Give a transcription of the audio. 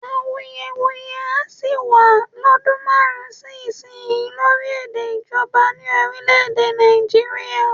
Awuyewuye á sì wá lọ́dún márùn-ún sí ìsinyìí lórí èdè ìjọba ní orílè-èdè Nàìjíríà